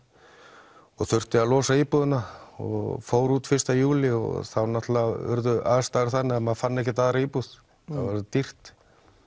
og þurfti að losa íbúðina og fór út fyrsta júlí og þá urðu aðstæður þannig að maður fann ekki nýja íbúð það var svo dýrt